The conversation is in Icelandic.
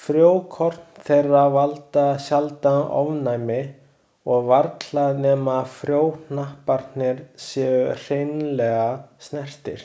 Frjókorn þeirra valda sjaldan ofnæmi og varla nema frjóhnapparnir séu hreinlega snertir.